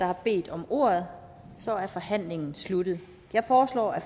har bedt om ordet så er forhandlingen sluttet jeg foreslår at